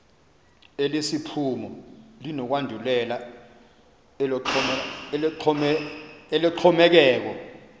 elesiphumo linokwandulela eloxhomekeko